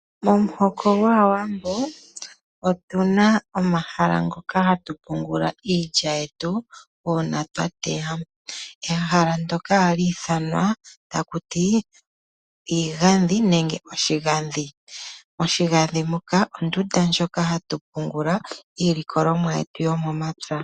Momuhoko gaawambo otuna omahala mpoka hatu pungula iilya yetu uuna twateya. Ehala ndoka ohali ithanwa takuti iigadhi nenge oshigadhi. Oshigadhi muka ondunda moka hatu pungula iilikolomwa yetu yomomapya.